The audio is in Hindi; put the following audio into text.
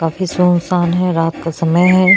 काफी सुनसान है रात का समय है।